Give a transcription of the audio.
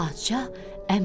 Padşah əmr elədi.